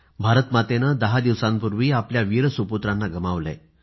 भारतमातेनं दहा दिवसांपूर्वी आपल्या वीर सुपुत्रांना गमावलंय